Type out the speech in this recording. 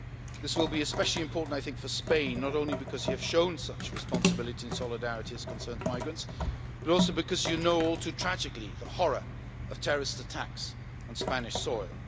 This will be especially important for Spain, not only because you have shown such responsibility and solidarity as concerns migrants, but also because you know all too tragically the horror of terrorist attacks on Spanish soil.